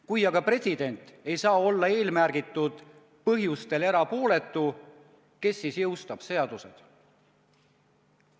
Kui aga president ei saa olla eelmärgitud põhjustel erapooletu, kes siis jõustab seadused?